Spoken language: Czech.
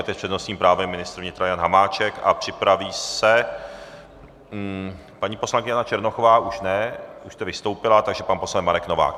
A teď s přednostním právem ministr vnitra Jana Hamáček a připraví se... paní poslankyně Jana Černochová už ne, už jste vystoupila, takže pan poslanec Marek Novák.